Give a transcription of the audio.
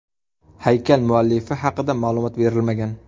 Haykal muallifi haqida ma’lumot berilmagan.